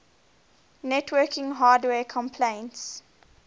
networking hardware companies